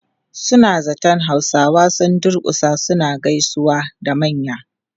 Suna zaton Hausawa sun durkusa suna gaisawa da manya.